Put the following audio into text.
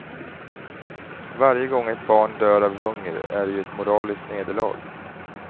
Varje gång ett barn dör av hunger är det ju ett moraliskt nederlag.